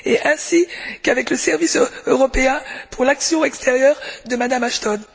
ainsi qu'avec le service européen pour l'action extérieure de Mme Ashton.